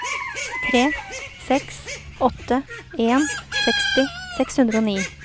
tre seks åtte en seksti seks hundre og ni